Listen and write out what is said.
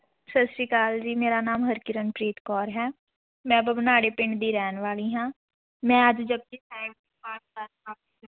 ਸਤਿ ਸ੍ਰੀ ਅਕਾਲ ਜੀ ਮੇਰਾ ਨਾਮ ਹਰਕਿਰਨਪ੍ਰੀਤ ਕੌਰ ਹੈ, ਮੈਂ ਬਵਨਾੜੇ ਪਿੰਡ ਦੀ ਰਹਿਣ ਵਾਲੀ ਹਾਂ, ਮੈਂ ਅੱਜ ਜਪੁਜੀ ਸਾਹਿਬ